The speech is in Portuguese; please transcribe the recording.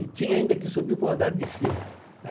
E tinha ainda que subir para o andar de cima.